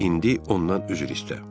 İndi ondan üzr istə.